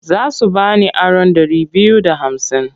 Za su ba ni aron ɗari biyu da hamsin.